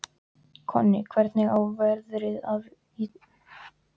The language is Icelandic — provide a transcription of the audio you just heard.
Konni, hvernig er veðrið í dag?